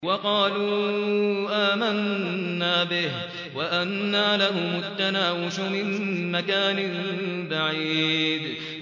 وَقَالُوا آمَنَّا بِهِ وَأَنَّىٰ لَهُمُ التَّنَاوُشُ مِن مَّكَانٍ بَعِيدٍ